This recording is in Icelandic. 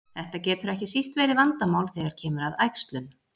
Þetta getur ekki síst verið vandamál þegar kemur að æxlun.